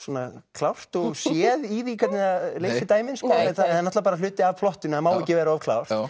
klárt og séð í því hvernig það leysir dæmið en það er hluti af plottinu það má ekki vera of klárt